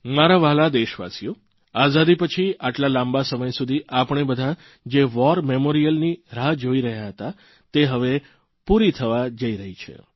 મારા વ્હાલા દેશવાસીઓ આઝાદી પછી આટલા લાંબા સમય સુધી આપણે બધા જે વોરમેમોરીયલયુદ્ધ સ્મૃતિસ્થાનની રાહ જોઇ રહ્યા હતા તે હવે પૂરી થવા જઇ રહી છે